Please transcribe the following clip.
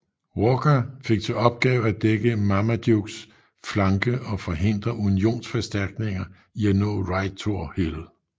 Walker fik til opgave at dække Marmadukes flanke og forhindre unionsforstærkninger i at nå Rightor Hill